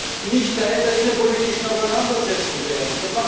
Wir dürfen nicht Teil der innenpolitischen Auseinandersetzung werden.